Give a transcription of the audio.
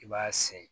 I b'a se